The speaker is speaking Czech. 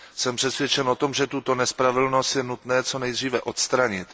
Jsem přesvědčen o tom, že tuto nespravedlnost je nutné co nejdříve odstranit.